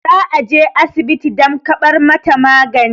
za a je asibiti dam kabar mataagani